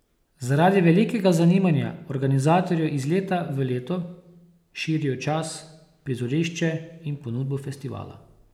Zaradi velikega zanimanja organizatorji iz leta v leto širijo čas, prizorišče in ponudbo festivala.